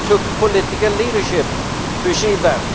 It took political leadership to achieve that.